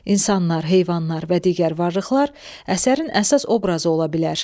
İnsanlar, heyvanlar və digər varlıqlar əsərin əsas obrazı ola bilər.